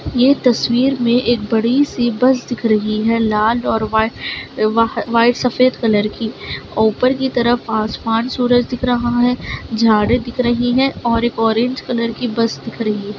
यह तस्वीर में एक बड़ी सी बस दिख रही है लाल और वाइट सफेद कलर की ऊपर की तरफ आसमान सूरज दिख रहा है झाड़े दिख रही हैं और एक ऑरेंज कलर की बस दिख रही है।